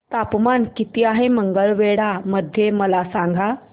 तापमान किती आहे मंगळवेढा मध्ये मला सांगा